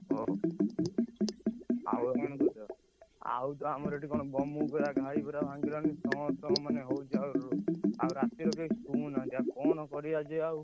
ଓହୋ, ଆଉ ତ ଆମର ଏଠି କଣ ବମୁକୁରା ଘାଇ ପୁରା ଭାଙ୍ଗିଲାଣି ସମସ୍ତଙ୍କ ମାନେ ହଉଛି, ଆଉ ରାତିରେ କେହି ଶୋଉନାହାନ୍ତି, ଆଉ କଣ କରିଆ ଆଜି ଆଉ,